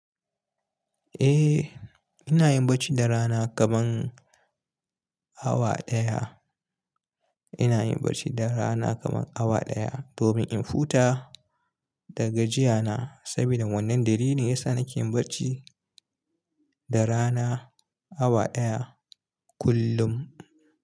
Eh, ina yin barci da rana kaman awa ɗaya. Ina yin barci da rana kaman awa ɗaya domin in huta da gajiya na. Sabida wannan dalilin ya sa nake yin barci da rana awa ɗaya kullum.